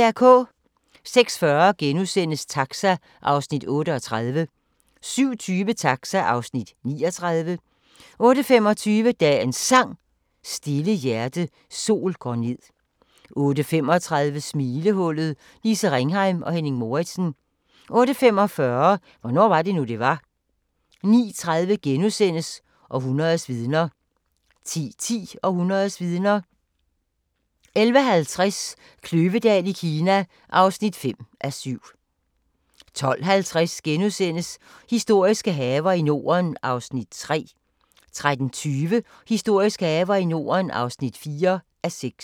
06:40: Taxa (Afs. 38)* 07:20: Taxa (Afs. 39) 08:25: Dagens Sang: Stille hjerte, sol går ned 08:35: Smilehullet – Lise Ringheim og Henning Moritzen 08:45: Hvornår var det nu, det var? 09:30: Århundredets vidner * 10:10: Århundredets vidner 11:50: Kløvedal i Kina (5:7) 12:50: Historiske haver i Norden (3:6)* 13:20: Historiske haver i Norden (4:6)